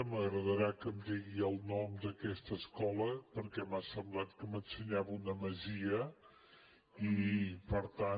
m’agradarà que em digui el nom d’aquesta escola perquè m’ha semblat que m’ensenyava una masia i per tant